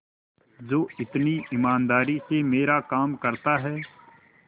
जो इतनी ईमानदारी से मेरा काम करता है